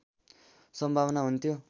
सम्भावना हुन्थ्यो